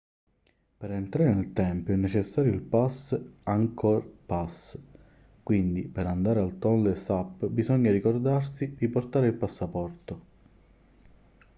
per entrare nel tempio è necessario il pass angkor pass quindi per andare al tonlé sap bisogna ricordarsi di portare il passaporto